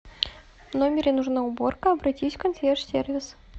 в номере нужна уборка обратись в консьерж сервис